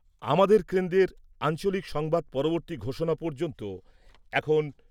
আমাদের কেন্দ্রের আঞ্চলিক সংবাদ পরবর্তী ঘোষণা পর্যন্ত এখন